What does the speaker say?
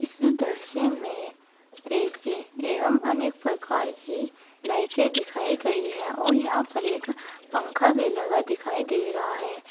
इस दृश्य में ऐ_सी एवं अनेक प्रकार की लाइटें दिखाई गई हैं और यहां पर एक पंखा भी लगा दिखाई दे रहा है।